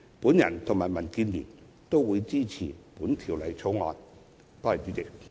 我和民建聯均支持《條例草案》。